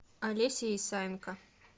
олеся исаенко